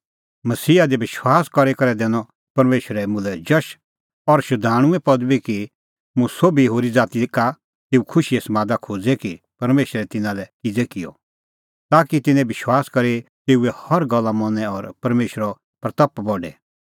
मसीहा दी विश्वास करी करै दैनअ परमेशरै मुल्है जश और शधाणूंए पदबी कि हुंह सोभी होरी ज़ाती का तेऊ खुशीए समादा खोज़े कि परमेशरै तिन्नां लै किज़ै किअ ताकि तिंयां बी विश्वास करी तेऊए हर गल्ला मनी और परमेशरे महिमां करे